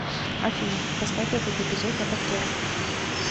афина поставь этот эпизод на повтор